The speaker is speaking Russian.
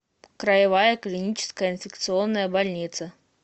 краевая клиническая инфекционная больница